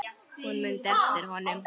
Hún mundi eftir honum.